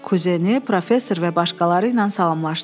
Kuzeni, professor və başqaları ilə salamlaşdı.